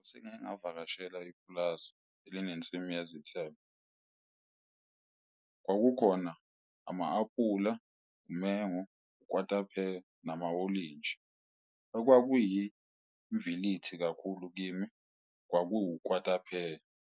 Sengike ngavakashela ipulazi elinezinsimu yezithelo. Kukhona ama-aphula, umengo, ukwatapheya, namawolintshi. Okwakuyimvilithi kakhulu kimi, kwakuwu kwatapheya.